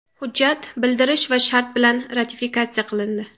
Hujjat bildirish va shart bilan ratifikatsiya qilindi.